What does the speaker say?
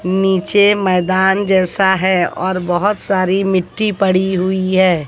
नीचे मैदान जैसा है और बहोत सारी मिट्टी पड़ी हुई है।